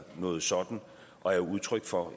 noget sådant og er udtryk for